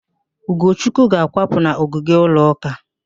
Ugochukwu ga-akwapụ n'ogige ụlọ ụka